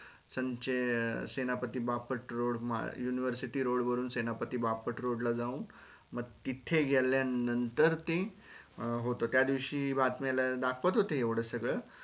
संचे Senapati Bapat road university road वरून Senapati Bapat road ला जावून म तीथे गेल्या नंतर ते होत त्या दिवशी बातम्या ला दाखवत होते एवढ सगळ